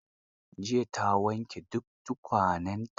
Jiya ta wanke duk tukwanenta.